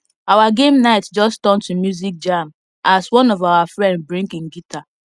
our game night just turn to music jam as one of our friend bring him guitar